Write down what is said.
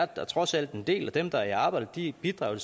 da trods alt en del af dem der er i arbejde og de bidrager